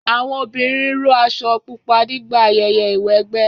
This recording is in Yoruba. Àwọn obìnrin ró aṣọ pupa nígbà ayẹyẹ ìwẹgbẹ́